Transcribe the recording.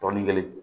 Dɔɔnin kelen